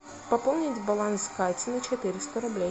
пополнить баланс кате на четыреста рублей